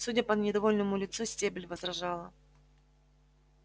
судя по недовольному лицу стебль возражала